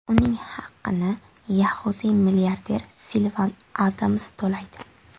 Uning haqini yahudiy milliarder Silvan Adams to‘laydi.